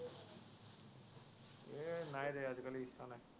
এৰ নাই ৰে আজিকালি ইচ্ছা নাই।